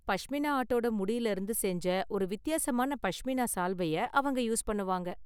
பஷ்மினா ஆட்டோட முடில இருந்து செஞ்ச ஒரு வித்தியாசமான பஷ்மினா சால்வையை அவங்க யூஸ் பண்ணுவாங்க.